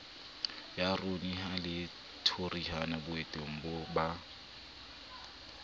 yuraniamo le thoriamo boteng ba